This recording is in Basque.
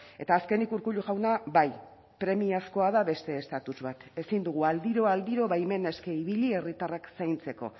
eta azkenik urkullu jauna bai premiazkoa da beste estatus bat ezin dugu aldiro aldiro baimen eske ibili herritarrak zaintzeko